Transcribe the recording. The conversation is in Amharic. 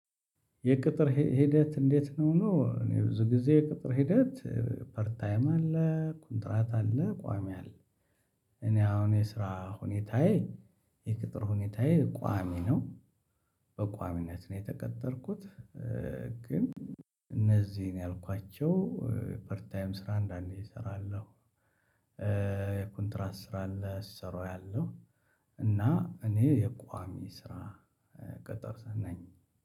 የቅጥር ሂደት እንዴት ነው? እኔ ብዙ ጊዜ የቅጥር ሂደት ፐር ታይም አለ ኮንትራት አለ ቋሚ አለ። እኔ አሁን የስራ ሁኔታዬ የቅጥር ሁኔታዬ ቋሚ ነው። በቋሚነት ነው የተቀጠርኩት። ግን እነዚህን ያልኳቸው ፐርታይም ስራ አንዳንዴ እሰራለሁ። ኮንትራት ስራ አለ ሲሰሩ አያለሁ። እና እኔ የቋሚ ስራ ቅጥር ስር ነኝ።